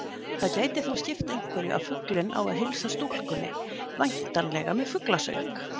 Það gæti þó skipt einhverju að fuglinn á að heilsa stúlkunni, væntanlega með fuglasöng.